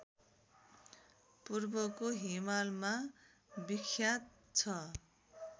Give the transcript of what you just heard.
पूर्वको हिमालमा विख्यात छ